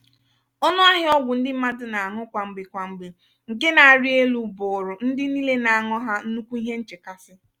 ọnụ ahịa ọgwụ ndị mmadụ na-añu kwamgbe kwamgbe nke na-arị élú bụụrụ ndị niile na-añụ ha nnukwu ihe nchekasị.